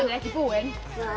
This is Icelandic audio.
ekki búinn